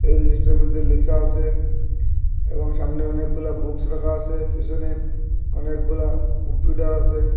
এই জিনিসটার মধ্যে লেখা আসে এবং সামনে অনেকগুলা বুকস রাখা আসে পিসনে অনেকগুলা কম্পিউটার আসে।